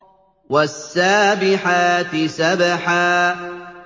وَالسَّابِحَاتِ سَبْحًا